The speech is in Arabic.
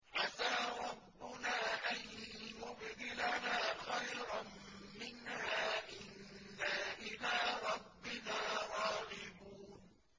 عَسَىٰ رَبُّنَا أَن يُبْدِلَنَا خَيْرًا مِّنْهَا إِنَّا إِلَىٰ رَبِّنَا رَاغِبُونَ